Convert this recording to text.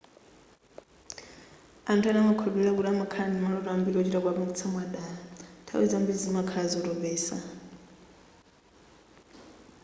anthu ena amakhulupirira kuti kukhala ndi maloto ambiri ochita kuwapangisa mwadala nthawi zambiri zimakhala zotopesa